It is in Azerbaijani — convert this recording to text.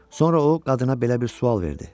Sonra o qadına belə bir sual verdi: